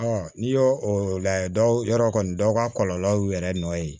n'i y'o o lajɛ dɔw yɔrɔ kɔni dɔw ka kɔlɔlɔ y'u yɛrɛ nɔ ye